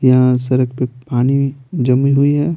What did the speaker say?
यहां सड़क पे पानी जमी हुई है।